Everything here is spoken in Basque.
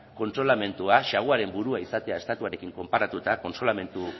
kontsolamenduak saguaren burua izatea estatuarekin konparatuta kontsolamendu